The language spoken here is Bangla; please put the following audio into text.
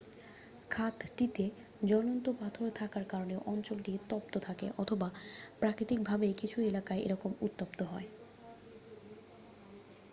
খাতটিতে জ্বলন্ত পাথর থাকার কারণে অঞ্চলটি তপ্ত থাকে অথবা প্রাকৃতিক ভাবেই কিছু এলাকা এরকম উত্তপ্ত হয়